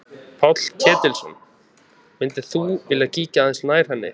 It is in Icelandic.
Páll Ketilsson: Myndir þú vilja kíkja aðeins nær henni?